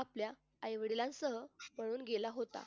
आपल्या आईवडिलां सह पळून गेला होता.